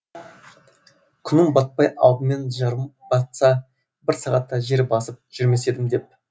күнім батпай алдымен жырым батса бір сағатта жер басып жүрмес едім деп